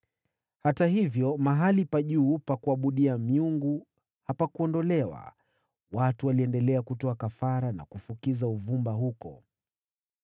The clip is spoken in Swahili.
Hata hivyo mahali pa juu pa kuabudia hapakuondolewa. Watu waliendelea kutoa kafara na kufukiza uvumba huko.